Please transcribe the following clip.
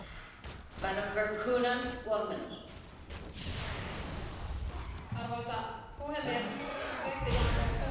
Arvoisa puhemies, brexit on suuri tragedia ja se osoittaa, mihin populismi äärimmillään voi johtaa.